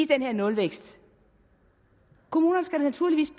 den her nulvækst kommunerne skal naturligvis